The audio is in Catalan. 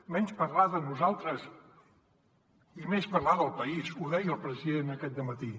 menys parlar de nosaltres i més parlar del país ho deia el president aquest dematí